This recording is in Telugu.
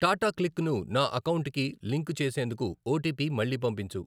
టాటా క్లిక్ ను నా అకౌంటుకి లింకు చేసేందుకు ఓటీపీ మళ్ళీ పంపించు.